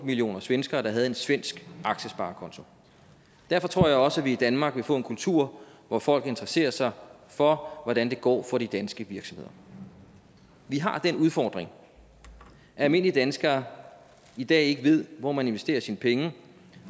millioner svenskere der havde en svensk aktiesparekonto derfor tror jeg også at vi i danmark vil få en kultur hvor folk interesserer sig for hvordan det går for de danske virksomheder vi har den udfordring at almindelige danskere i dag ikke ved hvor man investerer sine penge